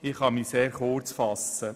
Ich kann mich also sehr kurz fassen.